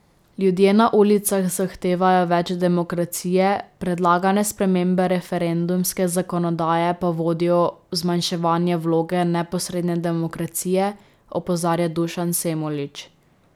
Ljudje na ulicah zahtevajo več demokracije, predlagane spremembe referendumske zakonodaje pa vodijo v zmanjševanje vloge neposredne demokracije, opozarja Dušan Semolič.